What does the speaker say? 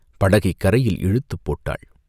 படகைக் கரையில் இழுத்து போட்டாள்.